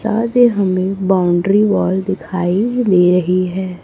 साथ ही हमें बाउंड्री वॉल दिखाई दे रही है।